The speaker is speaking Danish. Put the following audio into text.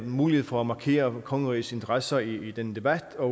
mulighed for at markere kongerigets interesser i den debat og